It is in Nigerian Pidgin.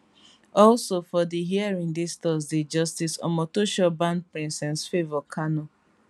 also for di hearing dis thursday justice omotosho ban princess favour kanu